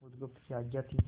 बुधगुप्त की आज्ञा थी